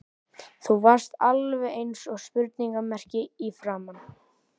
Þú varst alveg eins og spurningarmerki í framan.